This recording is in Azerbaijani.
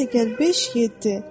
2 + 5 = 7.